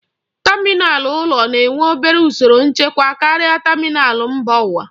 Tamịnal ụlọ na-enwe obere usoro nchekwa karịa tamịnal mba ụwa.